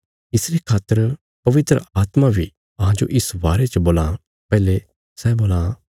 इसरे खातर पवित्र आत्मा बी अहांजो इस बारे च बोलां पैहले सै बोलां